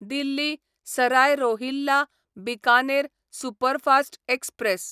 Delhi Sarai Rohilla Bikaner superfast express